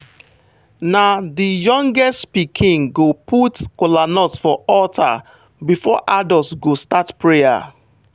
na the youngest pikin go put kolanut for altar before adult go start prayer.